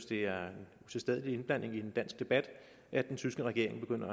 det er en utilstedelig indblanding i en dansk debat at den tyske regering begynder